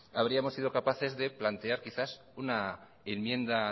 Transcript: habríamos sido capaces de plantear una enmienda